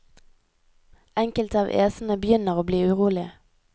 Enkelte av æsene begynner å bli urolige.